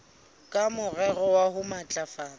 ka morero wa ho matlafatsa